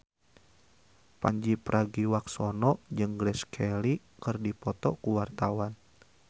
Pandji Pragiwaksono jeung Grace Kelly keur dipoto ku wartawan